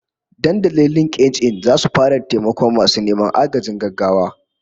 Dandalin LinkedIn zasu fara taimakon masu neman agajin gaggawa